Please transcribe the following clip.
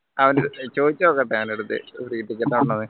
അവൻറെ ചോയിച്ചോക്കട്ടെ അവൻറെ അടുത്ത് ഉണ്ടോന്ന്